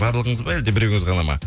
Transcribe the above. барлығыңыз ба әлде біреуіңіз ғана ма